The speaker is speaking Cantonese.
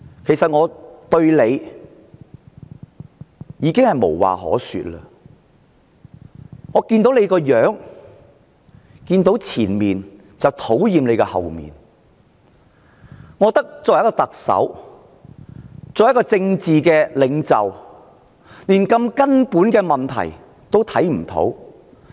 其實，我對"林鄭"已經無話可說，我看見她的正面，便討厭她的背面，因為她作為特首、作為政治領袖，連這麼根本的問題也看不到。